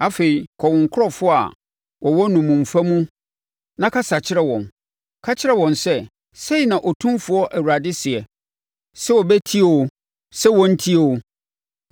Afei, kɔ wo nkurɔfoɔ a wɔwɔ nnommumfa mu na kasa kyerɛ wɔn. Ka kyerɛ wɔn sɛ, ‘Sei na Otumfoɔ Awurade seɛ,’ sɛ wɔbɛtie oo, sɛ wɔrentie oo.”